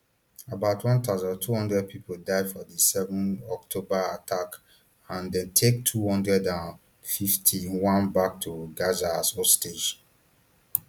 about one thousand, two hundred pipo die for di seven october attack and dem take two hundred and fifty-one back to gaza as hostages